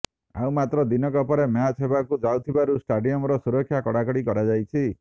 ଆଉ ମାତ୍ର ଦିନକ ପରେ ମ୍ୟାଚ୍ ହେବାକୁ ଯାଉଥିବାରୁ ଷ୍ଟାଡିୟମର ସୁରକ୍ଷାକୁ କଡ଼ାକଡ଼ି କରାଯାଇଛି